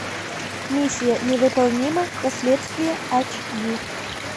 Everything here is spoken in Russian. миссия невыполнима последствия ач ди